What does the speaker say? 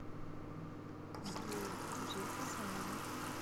двое гузель хасанова